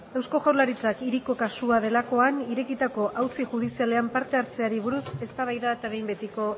eusko jaurlaritzak hiriko kasua delakoan irekitako auzi judizialean parte hartzeari buruz eztabaida eta behin betiko